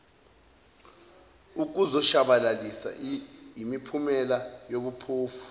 ukuzoshabalalisa imiphumela yobuphofu